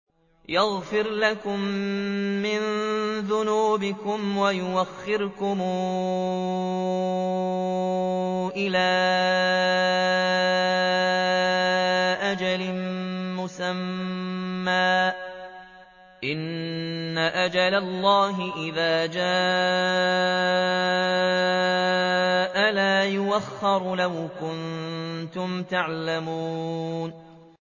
يَغْفِرْ لَكُم مِّن ذُنُوبِكُمْ وَيُؤَخِّرْكُمْ إِلَىٰ أَجَلٍ مُّسَمًّى ۚ إِنَّ أَجَلَ اللَّهِ إِذَا جَاءَ لَا يُؤَخَّرُ ۖ لَوْ كُنتُمْ تَعْلَمُونَ